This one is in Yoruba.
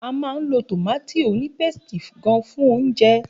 A máa ń lo tọ̀mátì ònípéstì gán fún oúnjẹ.